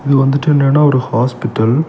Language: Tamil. இது வந்துட்டு என்னன்னா ஒரு ஹாஸ்பிடல் .